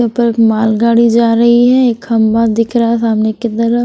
उपर एक माल गाड़ी जा रही है एक खंभा दिख रहा है सामने कि तर--